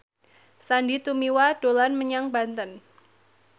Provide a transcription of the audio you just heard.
Sandy Tumiwa dolan menyang Banten